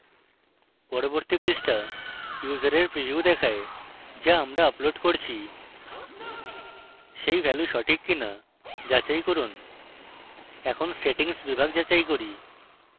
পরবর্তী পৃষ্ঠা ইউসারের preview দেখায় the আমরা আপলোড করছি সেই ভ্যালু সঠিক কিনা যাচাই করুন এখন settings বিভাগ যাচাই করুন